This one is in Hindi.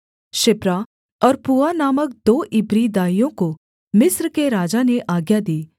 शिप्रा और पूआ नामक दो इब्री दाइयों को मिस्र के राजा ने आज्ञा दी